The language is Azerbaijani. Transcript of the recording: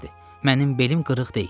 Mənim belim qırıq deyil.